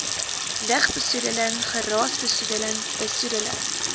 lugbesoedeling geraasbesoedeling besoedeling